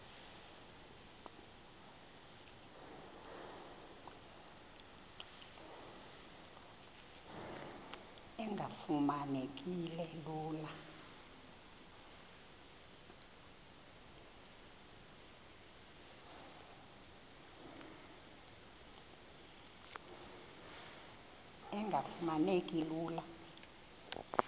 engafuma neki lula